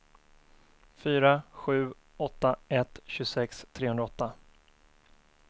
fyra sju åtta ett tjugosex trehundraåtta